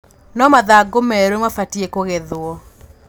no mathang̰ũ meru mabatie kũgethwo